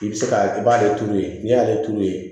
I bɛ se ka i b'ale turu yen n'i y'ale turu yen